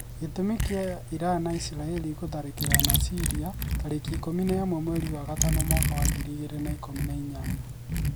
Gi͂tu͂mi ki͂a Irani na Isirai͂ri guthariki͂rana Syria tarĩki ikũmi na ĩmwe mweri wa gatano mwaka wa ngiri igĩrĩ na ikũmi na inyanya